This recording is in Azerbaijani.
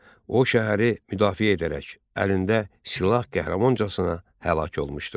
O şəhəri müdafiə edərək, əlində silah qəhrəmancasına həlak olmuşdur.